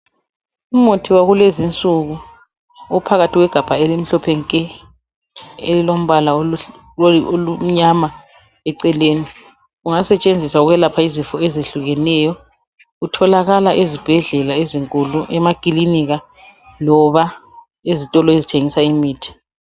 Umuthi wakulezinsuku uphakathi kwegabha elimhlophe nke, elilombala omnyama eceleni. Ungasetshenziswa ukwelapha izifo ezehlukeneyo. Utholakala ezibhedlela ezinkulu, emakilinika loba ezitolo ezithengisa imithi.